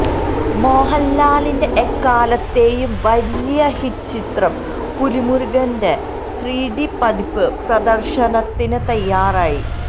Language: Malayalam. മോഹന്ലാലിന്റെ എക്കാലത്തെയും വലിയ ഹിറ്റ് ചിത്രം പുലിമുരുകന്റെ ത്രിഡി പതിപ്പ് പ്രദര്ശനത്തിന് തയ്യാറായി